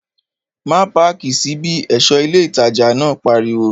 Má páàkì sí bí! ẹ̀ṣọ́ ilé ìtajà náà pariwo